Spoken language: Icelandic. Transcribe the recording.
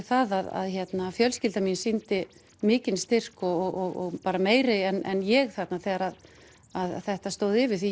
það að fjölskyldan mín sýndi mikinn styrk og bara meiri en ég þarna þegar þetta stóð yfir því